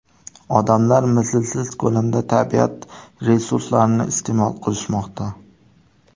Odamlar mislsiz ko‘lamda tabiat resurslarini iste’mol qilishmoqda.